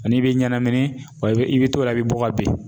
Ani i bɛ ɲɛnamini wa i bɛ t'o la i bɛ bɔ ka ben